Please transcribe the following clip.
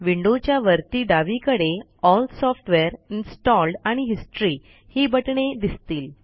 विंडोच्या वरती डावीकडे एल सॉफ्टवेअर इन्स्टॉल्ड आणि हिस्टरी ही बटणे दिसतील